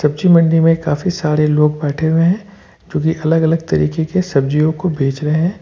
सब्जी मंडी में काफी सारे लोग बैठे हुए हैं जोकि अलग अलग तरीके के सब्जियों को बेच रहे--